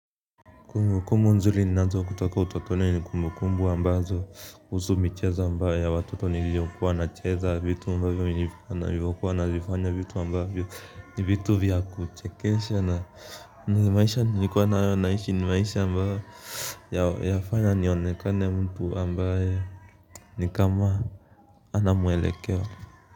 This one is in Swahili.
Kumbukumbu nzuri ninazo kutoka utotoni ni kumbukumbu ambazo zinahusu michezo ya watoto niliokuwa nacheza, vitu ambavyo nilivyokuwa navifanya, vitu ambavyo ni vitu vya kuchekesha na ni maisha niliyokuwa naishi ni maisha ambayo yafanya nionekane mtu ambaye ni kama hana mwelekeo.